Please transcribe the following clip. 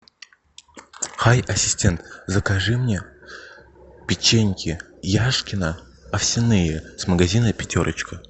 хай ассистент закажи мне печеньки яшкино овсяные с магазина пятерочка